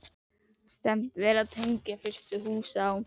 Stefnt er að því að tengja fyrstu hús á